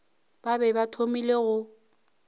ba be ba thomile go